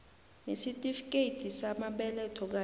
nesitifikethi samabeletho kanye